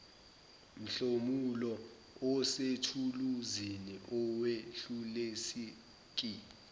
mhlomulo osethuluzini awedluliseki